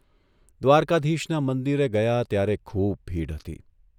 દ્વારકાધીશના મંદિરે ગયા ત્યારે ખૂબ ભીડ હતી.